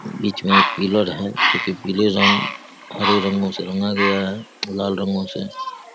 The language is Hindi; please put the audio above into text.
बीच मे एक पिलड़ है पीले रंग हरे रंगों से रंगा गया है लाल रंगों से --